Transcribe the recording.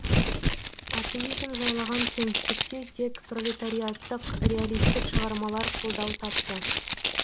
атеизм жайлаған кеңістікте тек пролетариаттық реалистік шығармалар қолдау тапты